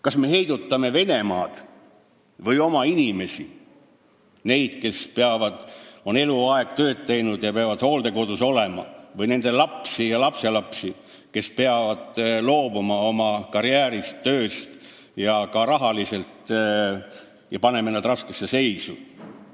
Kas me heidutame Venemaad või oma inimesi, neid, kes on eluaeg tööd teinud ja peavad hooldekodus olema, või nende lapsi ja lapselapsi, kes peavad loobuma oma karjäärist, tööst ja kelle me ka rahaliselt paneme raskesse seisu?